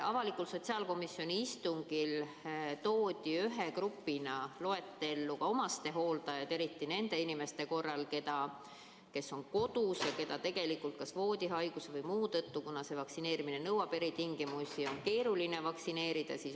Avalikul sotsiaalkomisjoni istungil toodi ühe grupina loetellu lisaks omastehooldajad, eriti nende inimeste hooldajad, kes on kodus ja keda kas voodihaiguse või millegi muu tõttu, kuna see vaktsineerimine nõuab eritingimusi, on keeruline vaktsineerida.